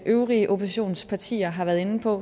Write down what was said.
øvrige oppositionspartier har været inde på